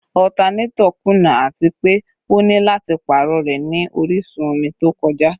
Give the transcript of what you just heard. Alternator kuna ati pe o ni lati paarọ rẹ ni orisun omi to kọja